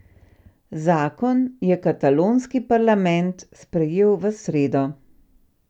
Zakon je katalonski parlament sprejel v sredo.